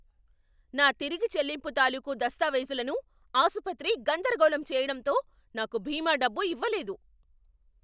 నా తిరిగి చెల్లింపు తాలూకు దస్తావేజులను ఆసుపత్రి గందరగోళం చేయడంతో నాకు బీమా డబ్బు ఇవ్వలేదు.